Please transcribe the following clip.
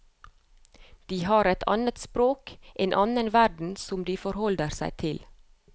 De har et annet språk, en annen verden som de forholder seg til.